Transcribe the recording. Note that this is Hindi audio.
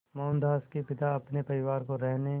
मोहनदास के पिता अपने परिवार को रहने